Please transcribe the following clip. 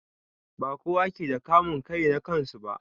Ba kowa ke da kamun kai na kansu ba.